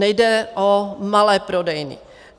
Nejde o malé prodejny.